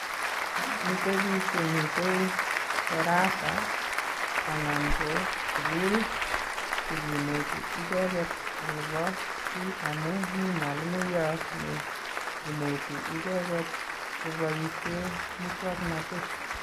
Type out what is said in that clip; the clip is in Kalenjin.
Mite biik chemite darasa anan ko sukul chekineti icheket akopo kiy amu mi mwalimoiyot neinete icheket koboishe musoknotet.